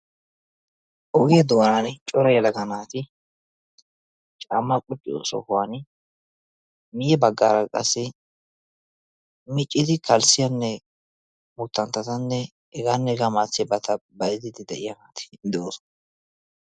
Ogiya doonaani Cora yelaga naati caammaa qucciyo sohuwan guye baggaara qassi miccidi kalssiyanne buttanttattanne hegaanne hegaa malatiyabata bayzzidi de'iyageeti de'oosona.